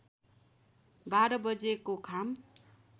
बाह्र बजेको घाम